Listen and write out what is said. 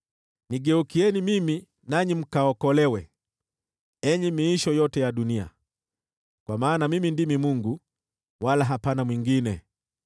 “Nigeukieni mimi, nanyi mkaokolewe, enyi miisho yote ya dunia; kwa maana mimi ndimi Mungu, wala hapana mwingine.